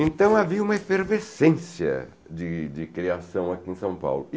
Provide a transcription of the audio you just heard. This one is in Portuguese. Então havia uma efervescência de de criação aqui em São Paulo.